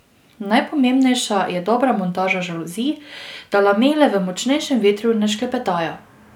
Najpomembnejša je dobra montaža žaluzij, da lamele v močnejšem vetru ne šklepetajo.